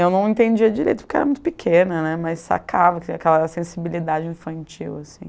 Eu não entendia direito porque era muito pequena, né, mas sacava aquela sensibilidade infantil, assim.